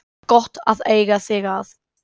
Það er gott að eiga þig að.